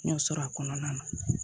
N y'o sɔrɔ a kɔnɔna na